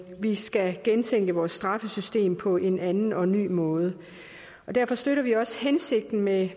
vi skal gentænke vores straffesystem på en anden og ny måde derfor støtter vi også hensigten med